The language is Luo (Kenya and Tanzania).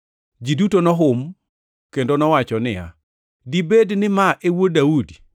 Ji duto nohum kendo nowacho niya, “Dibed ni ma e Wuod Daudi?”